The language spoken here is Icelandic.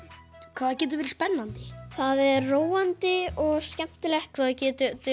hvað það getur verið spennandi það er róandi og skemmtilegt hvað það getur